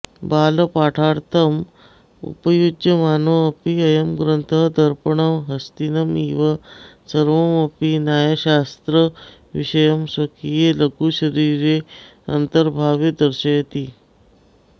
बालपाठार्थम् उपयुज्यमानोऽपि अयं ग्रन्थः दर्पणः हस्तिनमिव सर्वमपि न्यायशास्त्रविषयं स्वकीये लघुशरीरे अन्तर्भाव्य दर्शयति